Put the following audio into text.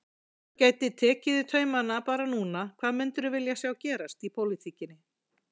Ef þú gætir tekið í taumana bara núna hvað myndirðu vilja sjá gerast í pólitíkinni?